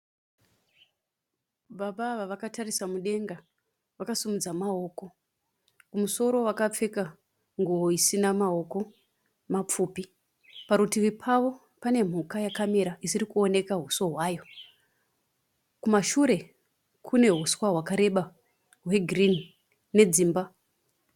Baba ava vakatarisa mudenga vakasimudza maoko. Kumusoro vakapfeka nguwo isina maoko mapfupi. Parutivi pavo pane mhuka yakamira isiri kuoneka huso hwayo. Kumashure kune huswa hwakareba hwegirinhi nedzimba.